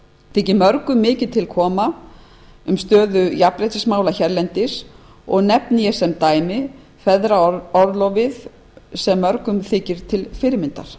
þykir mörgum mikið koma til stöðu jafnréttismála hérlendis og nefni ég sem dæmi feðraorlofið sem mörgum þykir til fyrirmyndar